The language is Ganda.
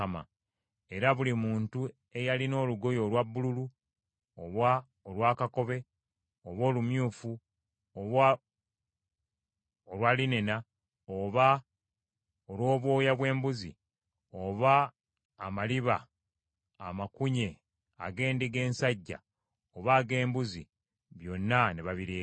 Era buli muntu eyalina olugoye olwa bbululu, oba olwa kakobe, oba olumyufu, oba olwa linena ennungi, oba olw’obwoya bw’embuzi; oba amaliba amakunye ag’endiga ensajja oba ag’embuzi, byonna ne babireeta.